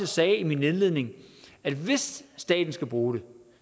sagde i min indledning at hvis staten skal bruge det